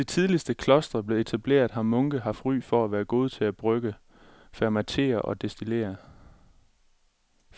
Siden de tidligste klostre blev etableret har munke haft ry for at være gode til at brygge, fermentere og destillere.